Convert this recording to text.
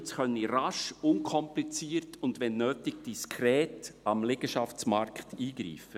Köniz könne rasch und unkompliziert und wenn nötig diskret am Liegenschaftsmarkt eingreifen.